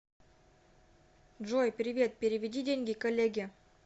джой привет переведи деньги коллеге